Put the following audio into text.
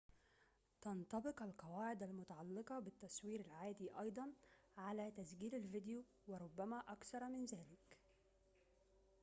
تنطبق القواعد المتعلقة بالتصوير العادي أيضاً على تسجيل الفيديو وربما أكثر من ذلك